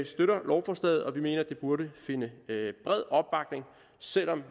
støtter lovforslaget og vi mener at det burde finde bred opbakning selv om